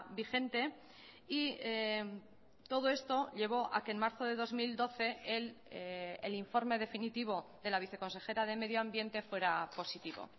vigente y todo esto llevó a que en marzo de dos mil doce el informe definitivo de la viceconsejera de medioambiente fuera positivo